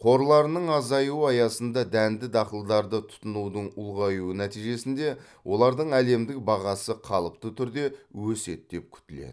қорларының азаюы аясында дәнді дақылдарды тұтынудың ұлғаюы нәтижесінде олардың әлемдік бағасы қалыпты түрде өседі деп күтіледі